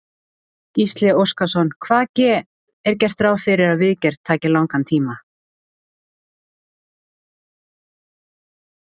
Gísli Óskarsson: Hvað ge, er gert ráð fyrir að viðgerð taki langan tíma?